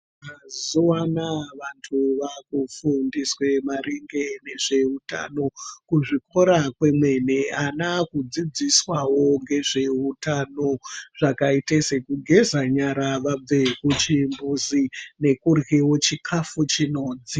Mazuva anaya vantu vakufundiswe maringe nezveutano kuzvikora kwemene. Ana akudzidziswavo ngezvehutano zvakaite sekugeza nyara vabve kuchimbuzi nekuryevo chikafu chinodziya.